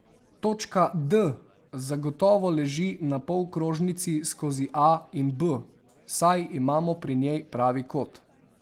Točka D zagotovo leži na polkrožnici skozi A in B, saj imamo pri njej pravi kot.